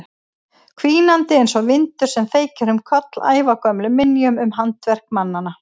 Hvínandi einsog vindur sem feykir um koll ævagömlum minjum um handaverk mannanna.